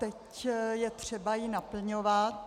Teď je třeba ji naplňovat.